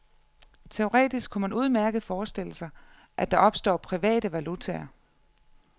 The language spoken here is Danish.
Teoretisk kunne man udmærket forestille sig, at der opstår private valutaer.